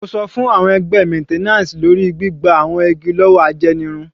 Mo sọ fún àwọn ẹgbẹ́ maintenance lórí gbígba àwọn igi lọ́wọ́ ajẹnirun.